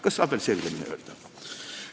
Kas saab veel selgemini öelda?